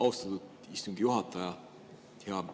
Austatud istungi juhataja!